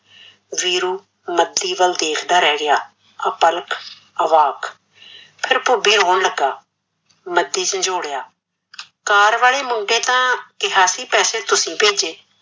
ਵੀਰੂ ਮਦੀ ਵੱਲ ਦੇਖਦਾ ਰਿਹ ਗਿਆ, ਆਪਲਕ ਆਵਾਕ ਫਿਰ ਭੁਬੇ ਰੋਣ ਲੱਗਾ ਮਦੀ ਝੰਜੋੜਿਆ, car ਵਾਲੇ ਮੁੰਡੇ ਤਾਂ ਕਿਹਾ ਸੀ ਪੈਸੇ ਤੁਸੀਂ ਭੇਜੇ